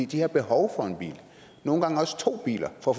de har behov for en bil nogle gange også to biler for